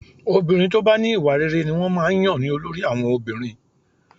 Obìnrin tó bá ní ìwà rere ni wọ́n máa ń yàn ní olórí àwọn obìnrin